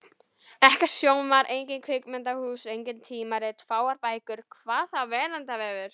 Ekkert sjónvarp, engin kvikmyndahús, engin tímarit, fáar bækur. hvað þá veraldarvefur!